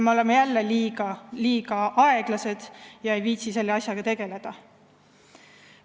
Me oleme jälle olnud liiga aeglased ega viitsi selle asjaga tegeleda.